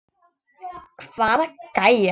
Hvaða gæjar?